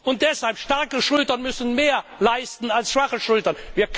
Und deshalb Starke Schultern müssen mehr leisten als schwache Schultern.